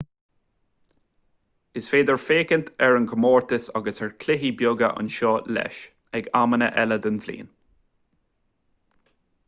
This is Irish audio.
is féidir féachaint ar chomórtais agus ar chluichí beaga anseo leis ag amanna eile den bhliain